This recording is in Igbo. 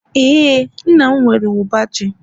ee, nna m nwere uba ji